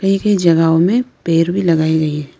जगहो में पेड़ भी लगाए गए हैं।